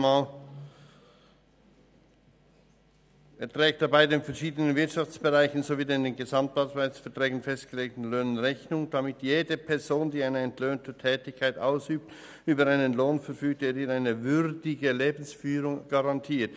«Er trägt dabei den verschiedenen Wirtschaftsbereichen sowie den in den Gesamtarbeitsverträgen festgelegten Löhnen Rechnung, damit jede Person, die eine entlöhnte Tätigkeit ausübt, über einen Lohn verfügt, der ihr eine würdige Lebensführung garantiert.